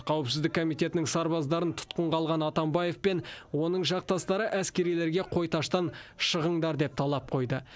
қауіпсіздік комитетінің сарбаздарын тұтқынға алған атамбаев пен оның жақтастары әскерилерге қойташтан шығыңдар деген талап қойды